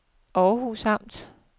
Århus Amt